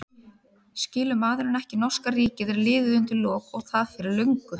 Skilur maðurinn ekki að norska ríkið er liðið undir lok og það fyrir löngu?